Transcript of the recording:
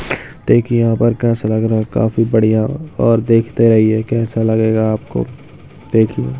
देखिए यहाँ पर कैसा लग रहा है काफी बढ़िया और देखते रहिए कैसा लगेगा आपको देखना।